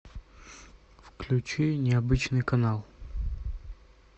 включи необычный канал